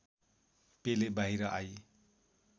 पेले बाहिर आई